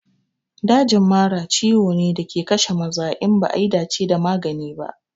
Dajin mara ciwo ne da ke kashe maza in ba a yi dace da magani ba.